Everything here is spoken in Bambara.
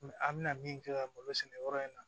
An bɛna min kɛ malo sɛnɛ yɔrɔ in na